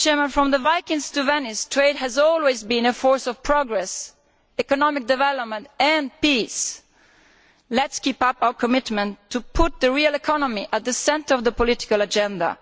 From the Vikings to Venice, trade has always been a force of progress, economic development and peace. Let us keep up our commitment to putting the real economy at the centre of the political agenda.